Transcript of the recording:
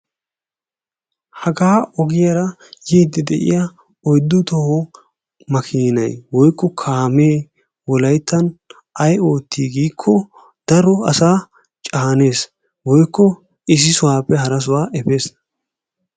Haga ogiyaara yiiddi de'iyaa oyddu toho makiinay woykko kaamee wolayttan ay ootti giikko daro asa caanes woykko issi sohuwappe hara sohuwaa efes.